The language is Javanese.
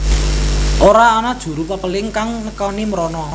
Ora ana juru pepéling kang nekani mrono